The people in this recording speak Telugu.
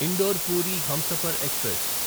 indoor Puri Humsafar express